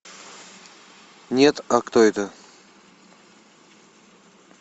нет а кто это